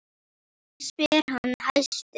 spyr hann æstur.